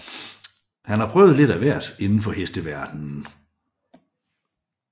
Han har prøvet lidt af hvert inden for hesteverdenen